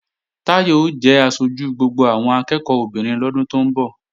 Táyọ̀ ó jẹ aṣojú gbogbo àwọn akẹ́ẹ̀kọ́ obìnrin lọ́dún tó ń bọ̀